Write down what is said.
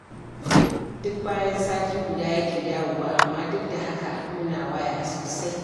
Duk bayan sati guda yake dawowa, amma duk da haka muna waya sosai